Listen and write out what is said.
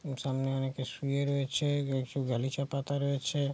সামনে অনেকে শুয়ে রয়েছে গালিচা পাতা রয়েছে।